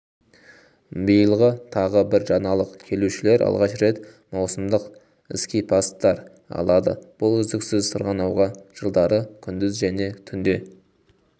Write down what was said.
биылғытағы бір жаңалық келушілер алғаш рет маусымдық скипасстар алады бұл үздіксіз сырғанауға жылдары күндіз және түнде